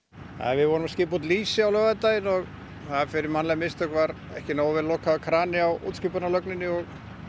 við vorum að skipa út lýsi á laugardaginn og fyrir mannleg mistök var ekki nógu vel lokaður krani á útskipunarlögninni og